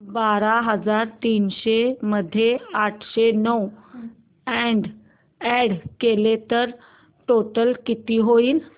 बारा हजार तीनशे मध्ये आठशे नऊ अॅड केले तर टोटल किती होईल